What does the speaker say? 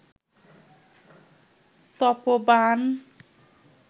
তপ বাণ